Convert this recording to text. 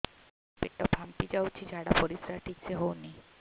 ପେଟ ଫାମ୍ପି ଯାଉଛି ଝାଡ଼ା ପରିସ୍ରା ଠିକ ସେ ହଉନି